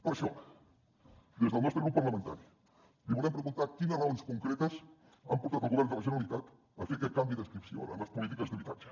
per això des del nostre grup parlamentari li volem preguntar quines raons concretes han portat el govern de la generalitat a fer aquest canvi d’adscripció en les polítiques d’habitatge